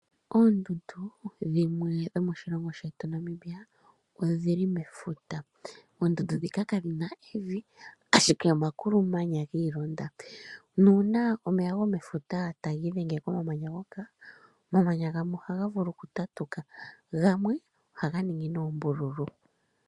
Oondundu dhimwe dho moshilongo shetu Namibia odhili mefuta. Oondundu ndhika kadhi na evi ashike omakulumanya giilonda, nuuna omeya gomefuta taga idhenge ko mamanya ngoka, omamanya gamwe ohaga vulu oku tatuka, gamwe ohaga ningi noombululu.